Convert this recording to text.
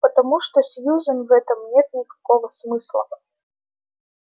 потому что сьюзен в этом нет никакого смысла